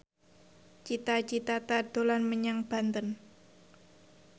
Cita Citata dolan menyang Banten